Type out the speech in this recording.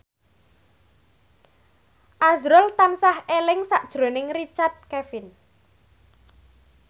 azrul tansah eling sakjroning Richard Kevin